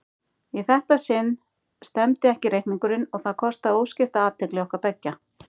Í þetta sinn stemmdi ekki reikningurinn og það kostaði óskipta athygli okkar beggja.